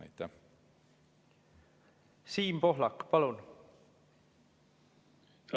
Siim Pohlak, palun!